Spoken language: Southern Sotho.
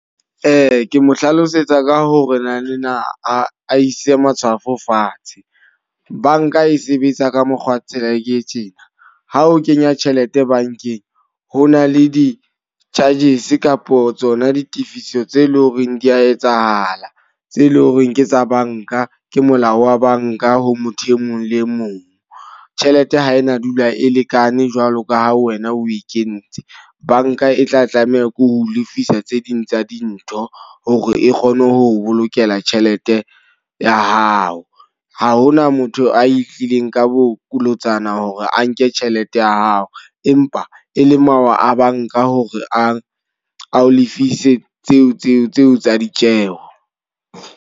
Ke mo hlalosetsa ka ho re na ne a ise matshwafo fatshe. Banka e sebetsa ka mokgwa tsela e tjena, ha o kenya tjhelete bankeng. Ho na le di-charges kapo tsona ditifiso tse leng hore di a etsahala, tse leng hore ke tsa banka ke molao wa banka ho motho e mong le mong. Tjhelete ha e na dula e lekane jwalo ka ha wena o e kentse. Banka e tla tlameha ke ho lefisa tse ding tsa dintho hore e kgone ho bolokela tjhelete ya hao. Ha hona motho a e tlileng ka bolotsana hore a nke tjhelete ya hao. Empa e le mawa a banka hore a ao lefise tseo tsa ditjeho.